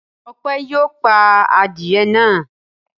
Ọpẹ́ yóò pa adìẹ náà.